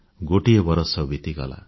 ଗୋଟିଏ ବରଷ ବିତିଗଲା